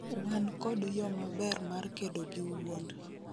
wan kod yo maber mar kedo gi wuond